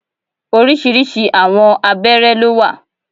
Orisirisi àwọn abéré ló wà.